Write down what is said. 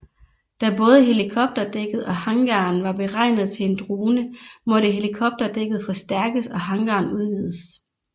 Da både helikopterdækket og hangaren var beregnet til en drone måtte helikopterdækket forstærkes og hangaren udvides